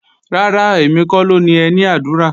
Rárá, èmi kọ́ ló ni ẹní àdúrà